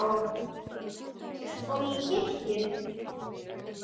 Eins og í kirkju.